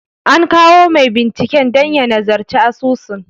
An kawo mai binciken dan ya nazarci asusun.